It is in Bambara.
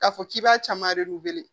K'a fɔ k'i b'a caman de wele